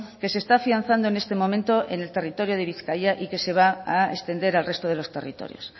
que se está afianzando en este momento en el territorio de bizkaia y que se va a extender al resto de los territorios